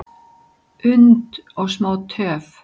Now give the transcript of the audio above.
und og smá töf,